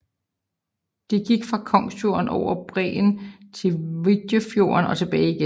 De gik fra Kongsfjorden over bræen til Wijdefjorden og tilbage igen